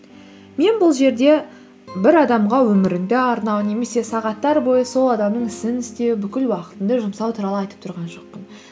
мен бұл жерде бір адамға өміріңді арнау немесе сағаттар бойы сол адамның ісін істеу бүкіл уақытыңды жұмсау туралы айтып тұрған жоқпын